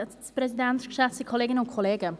– Frau Funiciello, Sie haben das Wort.